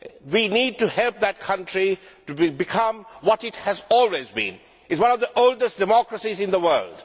We need to help that country to remain what it has always been one of the oldest democracies in the world.